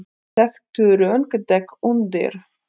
Settu röng dekk undir